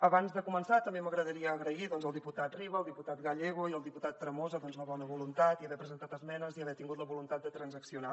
abans de començar també m’agradaria agrair al diputat riba al diputat gallego i al diputat tremosa doncs la bona voluntat i haver presentat esmenes i haver tingut la voluntat de transaccionar